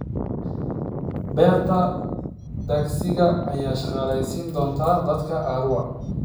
Beerta tagsiga ayaa shaqaaleysiin doonta dadka Arua.